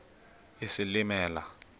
isilimela